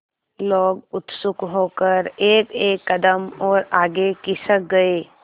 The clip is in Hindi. लोग उत्सुक होकर एकएक कदम और आगे खिसक गए